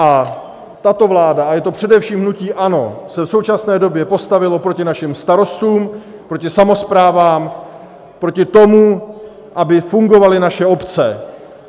A tato vláda - a je to především hnutí ANO - se v současné době postavilo proti našim starostům, proti samosprávám, proti tomu, aby fungovaly naše obce.